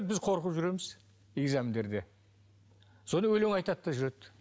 біз қорқып жүреміз экзамендерде содан өлең айтады да жүреді